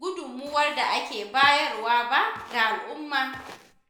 gudunmawar da ake bayarwa ba ga alumma.